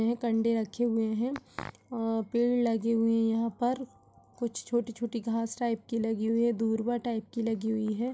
एक अंडे रखे हुए हैं। पेड़ लगे हुए हैं और यहाँ पर कुछ छोटी-छोटी घास टाइप की लगी हुई है। दूर्वा टाइप की लगी हुई है।